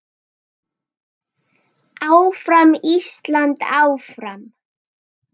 Áfram Ísland, áfram.